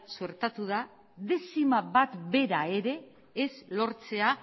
sortatu da dezima bat bera ere ez lortzea